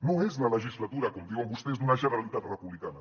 no és la legislatura com diuen vostès d’una generalitat republicana